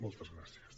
moltes gràcies